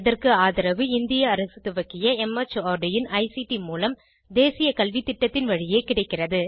இதற்கு ஆதரவு இந்திய அரசு துவக்கிய மார்ட் இன் ஐசிடி மூலம் தேசிய கல்வித்திட்டத்தின் வழியே கிடைக்கிறது